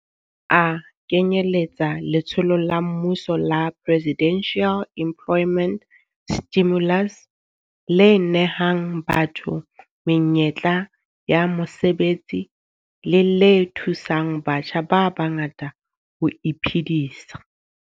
A kenyeletsa letsholo la mmuso la Presidential Employment Stimulus le nehang batho menyetla ya mosebetsi le le thusang batjha ba bangata ho iphedisa.